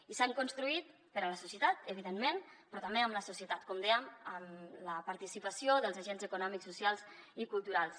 i s’han construït per a la societat evidentment però també amb la societat com dèiem amb la participació dels agents econòmics socials i culturals